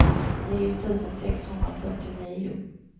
nio tusen sexhundrafyrtionio